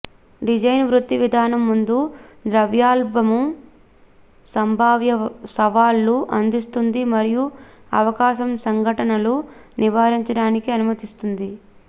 design వృత్తి విధానం ముందు దౌర్బల్యము సంభావ్య సవాళ్లు అందిస్తుంది మరియు అవకాశం సంఘటనలు నివారించడానికి అనుమతిస్తుంది